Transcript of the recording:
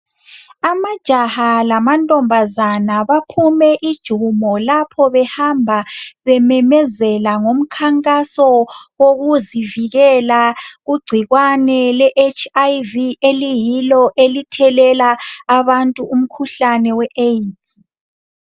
Amajaha lamantombazana baphume ijumo lapho behamba bememezela ngomkhankaso wokuzivikela kugcikwane le HIV eliyilo elithelela abantu umkhuhlane we AIDS